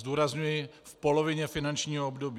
Zdůrazňuji - v polovině finančního období.